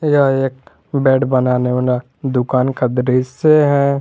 यह एक बेड बनाने ओना दुकान का दृश्य है।